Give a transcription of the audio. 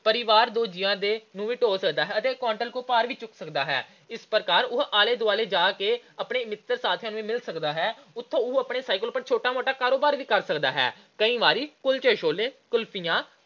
ਪਰਿਵਾਰ ਦੇ ਦੋ ਜੀਆਂ ਨੂੰ ਵੀ ਢੋਅ ਸਕਦਾ ਹੈ ਤੇ quintal ਕੁ ਤੱਕ ਦਾ ਭਾਰ ਵੀ ਚੁੱਕ ਸਕਦਾ ਹੈ। ਇਸ ਪ੍ਰਕਾਰ ਉਹ ਆਲੇ-ਦੁਆਲੇ ਜਾ ਕੇ ਆਪਣੇ ਰਿਸ਼ਤੇਦਾਰ ਤੇ ਸਾਥੀਆਂ ਨੂੰ ਮਿਲ ਵੀ ਸਕਦਾ ਹੈ। ਉਤੋਂ ਉਹ ਆਪਣੇ cycle ਤੇ ਛੋਟਾ-ਮੋਟਾ ਕਾਰੋਬਾਰ ਵੀ ਕਰ ਸਕਦਾ ਹੈ। ਕਈ ਵਾਰ ਕੁਲਚੇ-ਛੋਲੇ, ਕੁਲਫੀਆਂ,